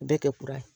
Bɛɛ kɛ kura ye